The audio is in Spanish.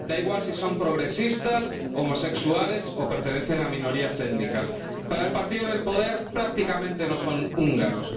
da igual si son progresistas, homosexuales, o pertenecen a minorías étnicas para el partido en el poder, prácticamente no son húngaros.